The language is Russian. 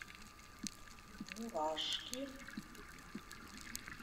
мурашки